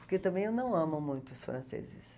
Porque também eu não amo muito os franceses.